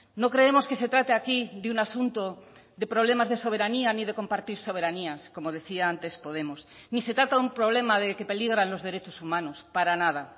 no creemos que se trate aquí de un asunto de problemas de soberanía ni de compartir soberanías como decía antes podemos ni se trata de un problema de que peligran los derechos humanos para nada